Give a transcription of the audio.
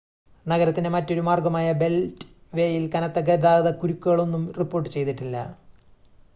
നഗരത്തിൻ്റെ മറ്റൊരു മാർഗ്ഗമായ ബെൽറ്റ് വേയിൽ കനത്ത ഗതാഗത കുരുക്കുകളൊന്നും റിപ്പോർട്ട് ചെയ്തിട്ടില്ല